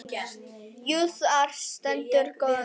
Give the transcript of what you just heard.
Jú, þar stendur góða nótt.